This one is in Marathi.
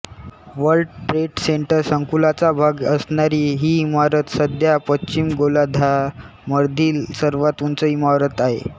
वर्ल्ड ट्रेड सेंटर संकूलाचा भाग असणारी ही इमारत सध्या पश्चिम गोलार्धामधील सर्वात उंच इमारत आहे